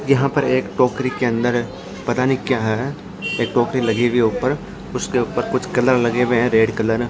यहां पर एक टोकरी के अंदर पता नहीं क्या है एक टोकरी लगी हुई है ऊपर उसके ऊपर कुछ कलर लगे हुए हैं रेड कलर ।